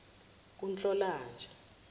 kunhlolanja